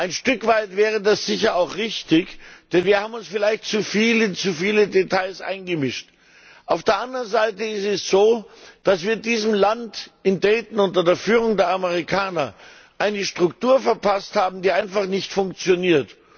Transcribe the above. Ein Stück weit wäre das sicher auch richtig, denn wir haben uns vielleicht zu viel in zu viele Details eingemischt. Auf der anderen Seite ist es so, dass wir diesem Land in Dayton unter Führung der Amerikaner eine Struktur verpasst haben, die einfach nicht funktioniert.